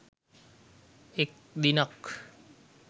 එක් දිනක්